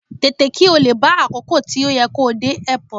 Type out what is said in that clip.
Tètè, kí ó lè bá àkókò tí ó yẹ kó dé Airport.